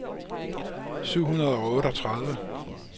syv hundrede og otteogtredive